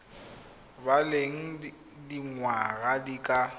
ba leng dingwaga di ka